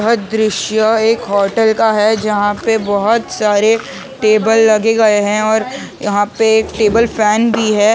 यह दृश्य एक होेटल का है जहाँ पे बहुत सारे टेबल लगे गए है और यहाँ पे एक टेबल फैन भी है--